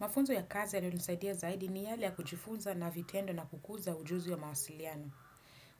Mafunzo ya kazi yaliyonisaidia zaidi ni yale ya kujifunza na vitendo na kukuza ujuzi wa mawasiliano.